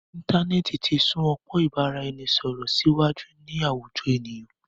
Íntanẹ́ẹ̀ti ti sún ọpọ́n ìbáraẹnisọ̀rọ̀ síwájú ní àwùjọ ènìyàn.